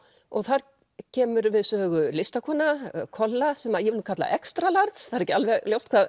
og þar kemur við sögu listakona kolla sem ég vil kalla extra large það er ekki alveg ljóst hvað